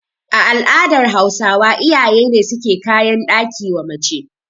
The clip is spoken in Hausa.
A al'adar Hausawa iyaye ne suke kayan ɗaki wa mace